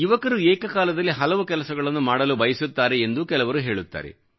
ಯುವಕರು ಏಕಕಾಲದಲ್ಲಿ ಹಲವು ಕೆಲಸಗಳನ್ನು ಮಾಡಲು ಬಯಸುತ್ತಾರೆ ಎಂದೂ ಕೆಲವರು ಹೇಳುತ್ತಾರೆ